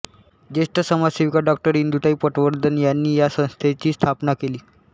ज्येष्ठ समाजसेविका डॉ इंदुताई पटवर्धन यांनी या संस्थेची स्थापना केली